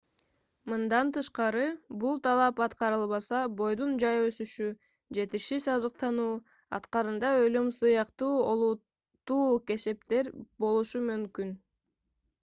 мындан тышкары бул талап аткарылбаса бойдун жай өсүшү жетишсиз азыктануу акырында өлүм сыяктуу олуттуу кесепеттер болушу мүмкүн